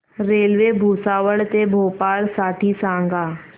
railway Bhusawal ते भोपाळ साठी सांगा